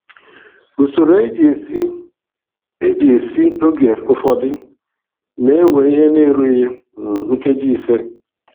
Usoro e ji esi e ji esi oge ụfọdụ na-ewe ihe na-erughị um nkeji ise.